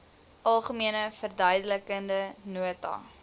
algemene verduidelikende nota